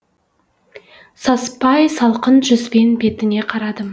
саспай салқын жүзбен бетіне қарадым